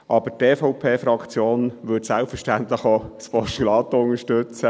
Die EVP-Fraktion würde selbstverständlich auch ein Postulat unterstützen.